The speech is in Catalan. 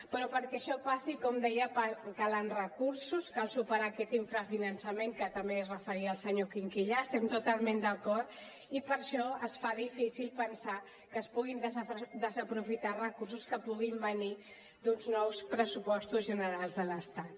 però perquè això passi com deia calen recursos cal superar aquest infrafinançament a què també es referia el senyor quinquillà hi estem totalment d’acord i per això es fa difícil pensar que es puguin desaprofitar recursos que puguin venir d’uns nous pressupostos generals de l’estat